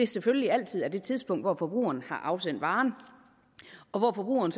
selvfølgelig altid er det tidspunkt hvor forbrugeren har afsendt varen og hvor forbrugeren